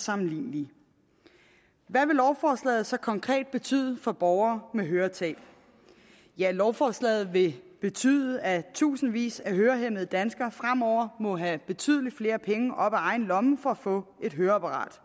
sammenlignes hvad vil lovforslaget så konkret betyder for borgere med høretab ja lovforslaget vil betyde at tusindvis af hørehæmmede danskere fremover må have betydelig flere penge op af egen lomme for at få et høreapparat